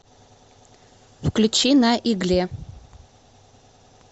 включи на игле